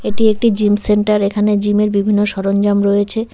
এটি একটি gym centre এখানে জিম -এর বিভিন্ন সরঞ্জাম রয়েছে।